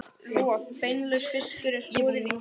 Roð- og beinlaus fiskur er soðinn í tíu mínútur.